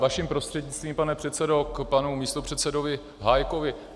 Vaším prostřednictvím, pane předsedo, k panu místopředsedovi Hájkovi.